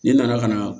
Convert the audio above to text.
Ne nana ka na